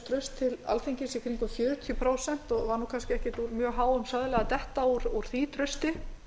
til alþingis í kringum fjörutíu prósent og var kannski ekki úr mjög háum söðli að detta úr því trausti